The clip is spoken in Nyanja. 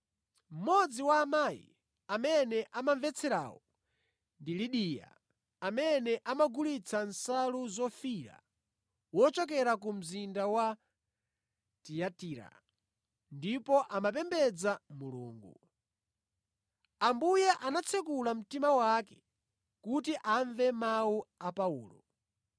Mmodzi wa amayi amene amamvetserawo ndi Lidiya amene amagulitsa nsalu zofiira, wochokera ku mzinda wa Tiyatira, ndipo amapembedza Mulungu. Ambuye anatsekula mtima wake kuti amve mawu a Paulo.